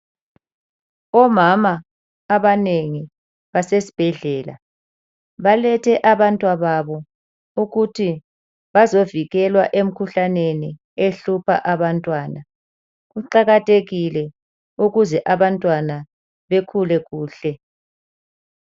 Omama abanengi, basesibhedlela, balethe abantwababo ukuthi bazovikelwa emkhuhlaneni ehlupha abantwana. Kuqakathekile ukuze abantwana bekhule kuhle.